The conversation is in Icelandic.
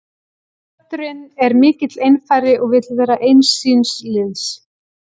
Kötturinn er mikill einfari og vill vera eins síns liðs.